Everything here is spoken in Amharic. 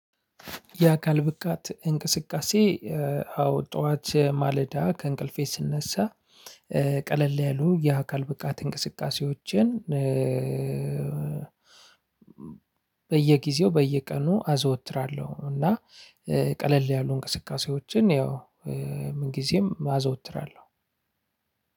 የአካል ብቃት እንቅስቃሴ አዎ ጥዋት ማለዳ ከእንቅልፌ ስነሳ። ቀለል ያሉ የአካል ብቃት እንቅስቃሴዎችን በየጊዜው በየቀኑ አዘወትራለሁ። እና ቀለል ያሉ እንቅስቃሴዎችን ያው ምንጊዜም አዘወትራለሁ።